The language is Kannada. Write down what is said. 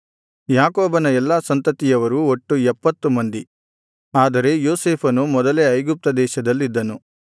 ಯಾಕೋಬನ ಎಲ್ಲಾ ಸಂತತಿಯವರು ಒಟ್ಟು ಎಪ್ಪತ್ತು ಮಂದಿ ಆದರೆ ಯೋಸೇಫನು ಮೊದಲೇ ಐಗುಪ್ತದೇಶದಲ್ಲಿದ್ದನು